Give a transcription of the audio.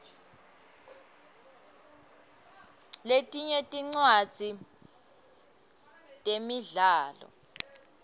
letinye tincwadzi temidlalo